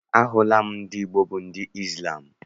Ahụla m ndị Igbo bụ ndị Izlam.